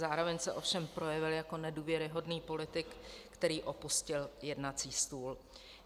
Zároveň se ovšem projevil jako nedůvěryhodný politik, který opustil jednací stůl.